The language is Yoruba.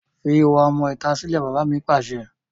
Fi ìwà ọmọ ìta sílè! Bàbá mi Pàṣẹ.